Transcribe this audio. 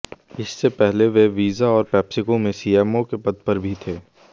इससे पहले वे वीजा और पेप्सिको में सीएमओ के पद पर भी थे